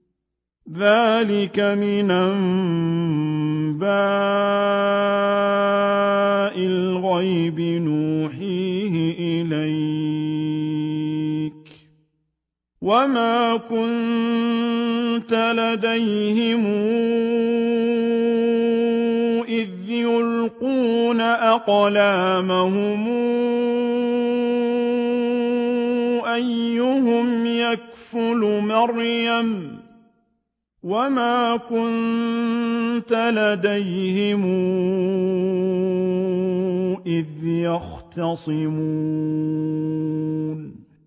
ذَٰلِكَ مِنْ أَنبَاءِ الْغَيْبِ نُوحِيهِ إِلَيْكَ ۚ وَمَا كُنتَ لَدَيْهِمْ إِذْ يُلْقُونَ أَقْلَامَهُمْ أَيُّهُمْ يَكْفُلُ مَرْيَمَ وَمَا كُنتَ لَدَيْهِمْ إِذْ يَخْتَصِمُونَ